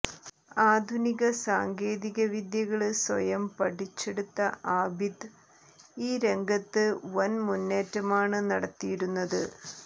ആധുനിക സാങ്കേതിക വിദ്യകള് സ്വയം പഠിച്ചെടുത്ത ആബിദ് ഈ രംഗത്ത് വന് മുന്നേറ്റമാണ് നടത്തിയിരുന്നത്